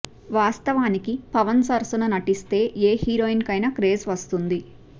వాస్తవానికి పవన్ సరసన నటిస్తే ఏ హీరోయిన్ కైనా క్రేజ్ వస్తుంది